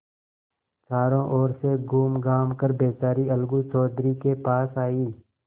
चारों ओर से घूमघाम कर बेचारी अलगू चौधरी के पास आयी